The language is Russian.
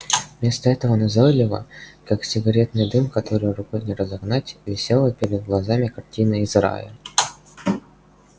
вместо этого назойливо как сигаретный дым который рукой не разогнать висела перед глазами картина из рая